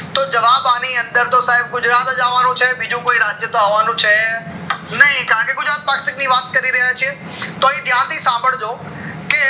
તો જવાબ અઆની અંદર તો સાયબ ગુજરાત જ અવાનો છે બીજું કોઈ રાજ્ય આવાનું છે નય કારણ કે ગુજરાત પક્ષાક ની વાત કરી રહ્યા છે તો અય ધ્યાન થી સંભાળજો કે